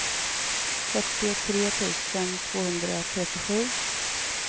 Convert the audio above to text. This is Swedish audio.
fyrtiotre tusen tvåhundratrettiosju